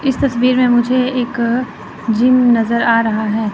इस तस्वीर में मुझे एक जिम नजर आ रहा है।